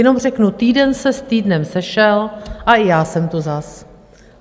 Jenom řeknu: týden se s týdnem sešel a i já jsem tu zas.